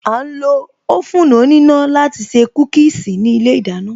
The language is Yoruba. A ń lo oven òníná láti se Kúkíīsī ní ilé ìdáná